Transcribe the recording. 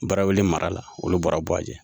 Barawili mara la olu bɔra buwajɛ